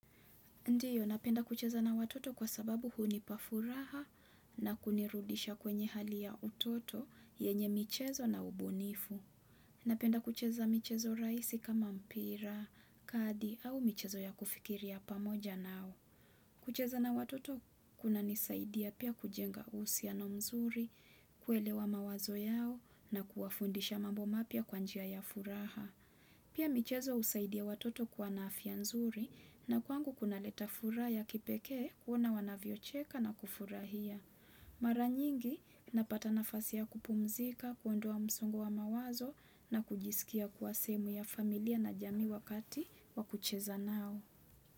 Ndiyo, napenda kucheza na watoto kwa sababu hunipa furaha na kunirudisha kwenye hali ya utoto yenye michezo na ubunifu. Napenda kucheza michezo rahisi kama mpira, kadi au michezo ya kufikiria pamoja nao. Kucheza na watoto kunanisaidia pia kujenga uhusiano mzuri, kuelewa mawazo yao na kuwafundisha mambo mapya kwa njia ya furaha. Pia michezo husaidia watoto kuwa na afya nzuri na kwangu kunaleta furaha ya kipeke kuona wanavyocheka na kufurahia. Mara nyingi napata nafasi ya kupumzika, kuondua msongo wa mawazo na kujisikia kuwa sehemu ya familia na jamii wakati wa kucheza nao.